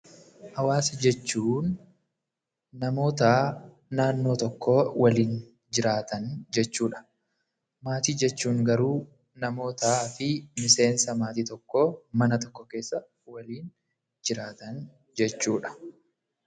Hawaasa jechuun namoota naannoo tokko waliin jiraatan jechuudha. Maatii jechuun garuu namootaa fi miseensa maatii tokkoo mana tokko keessa waliin jiraatan jechuudha.